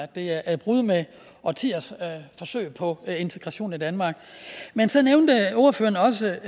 det er et brud med årtiers forsøg på integration i danmark men så nævnte ordføreren også